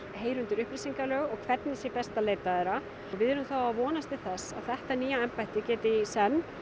heyra undir upplýsingalög og hvernig sé best að leita þeirra við erum þá að vonast til þess að þetta nýja embætti geti í senn